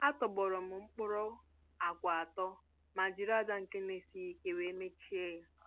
A tọgbọrọm m mkpụrụ àgwà atọ ma jiri aja nke n'esighi ike wéré mechie ya